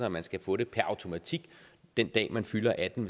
at man skal få det per automatik den dag man fylder atten